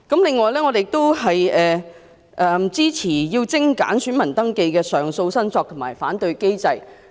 另外，我們支持精簡選民登記的上訴、申索及反對機制。